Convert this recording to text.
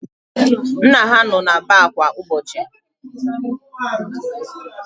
Nna ha nọ na baar kwa ụbọchị.